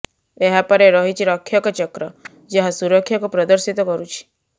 ଏହାପରେ ରହିଛି ରକ୍ଷକ ଚକ୍ର ଯାହା ସୁରକ୍ଷାକୁ ପ୍ରଦର୍ଶିତ କରୁଛି